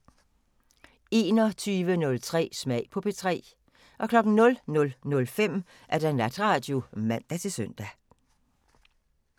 21:03: Smag på P3 00:05: Natradio (man-søn)